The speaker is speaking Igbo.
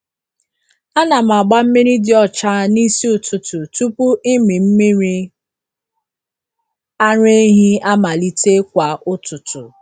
Ana m agba mmiri dị ọcha n’isi ụtụtụ tupu ịmị mmiri ara ehi amalite kwa ụtụtụ.